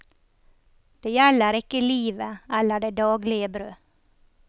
Det gjelder ikke livet, eller det daglige brød.